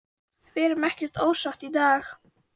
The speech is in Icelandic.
Við erum ekkert ósátt í dag.